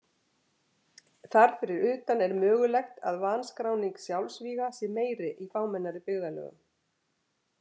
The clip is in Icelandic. Þar fyrir utan er mögulegt að vanskráning sjálfsvíga sé meiri í fámennari byggðarlögum.